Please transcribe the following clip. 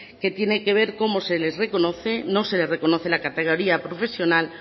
que tienen que ver cómo se les reconoce no se les reconoce la categoría profesional